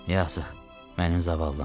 Yazıq, mənim zavallım,